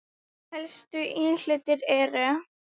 Helstu íhlutir eru